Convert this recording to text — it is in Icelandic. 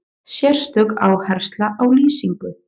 Sérstök áhersla á lýsingu.